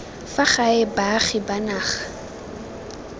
fa gae baagi ba naga